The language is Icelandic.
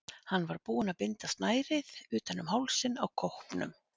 Hann var búinn að binda snærið utan um hálsinn á kópnum.